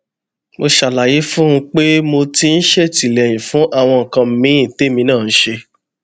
mo ṣàlàyé fún un pé mo ti ń ṣètìléyìn fún àwọn nǹkan míì témi náà ń ṣe